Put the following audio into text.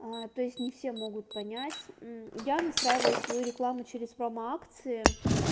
а то есть не все могут понять я настраиваю свою рекламу через промо акции